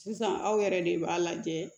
Sisan aw yɛrɛ de b'a lajɛ